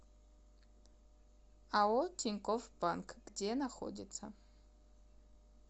ао тинькофф банк где находится